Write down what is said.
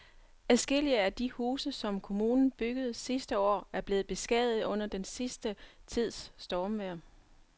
Adskillige af de huse, som kommunen byggede sidste år, er blevet beskadiget under den sidste tids stormvejr.